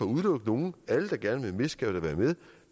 udelukke nogen alle der gerne vil skal da være med